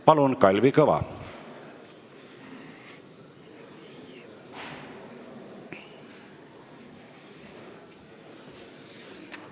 Palun, Kalvi Kõva!